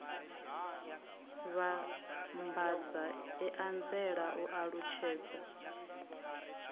vhambadza i anzela u alutshedza